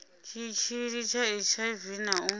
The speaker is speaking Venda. tshitshili tsha hiv na u